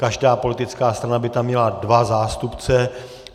Každá politická strana by tam měla dva zástupce.